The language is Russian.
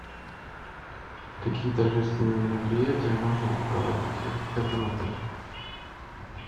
какие торжественные мероприятия можно проводить в этом отеле